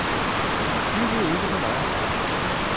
Lyv nu ikke for mig.